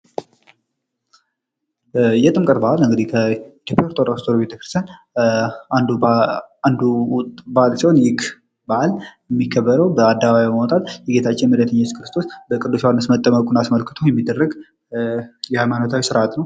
የጥምቀት ባህል በኢትዮጵያ ኦርቶዶክስ ተዋህዶ ቤተክርስቲያን አንዱ በዓለ ሲሆን ይህም በአል የሚከበረው በአደባባይ በመውጣት የጌታችን ኢየሱስ ክርስቶስ በቅዱስ ዮሐንስ መጠመቁን አስመልክቶ ች የሚደረጉ የሃይማኖታዊ ስርአት ነው።